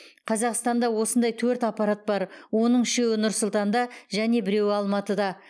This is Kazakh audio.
қазақстанда осындай төрт аппарат бар оның үшеуі нұр сұлтанда және біреуі алматыда